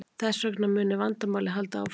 Þess vegna muni vandamálið halda áfram